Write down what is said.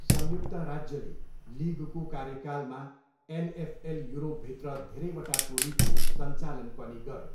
संयुक्त राज्यले लिगको कार्यकालमा एनएफएल युरोपभित्र धेरैवटा टोलीको सञ्चालन पनि गऱ्यो।